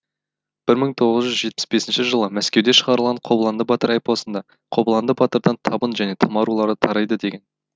бір мың тоғыз жүз жетпіс бесінші жылы мәскеуде шығарылған қобыланды батыр эпосында қобыланды батырдан табын және тама рулары тарайды деген